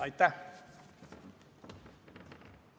Aitäh!